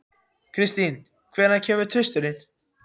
Kristin, hvenær kemur tvisturinn?